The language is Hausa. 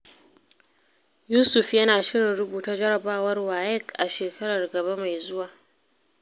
Yusuf yana shirin rubuta jarabawar WAEC a shekarar gaba mai zuwa.